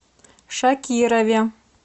шакирове